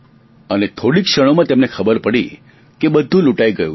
અને થોડી જ ક્ષણોમાં તેમને ખબર પડી ગયી કે બધું જ લૂંટાઈ ગયું છે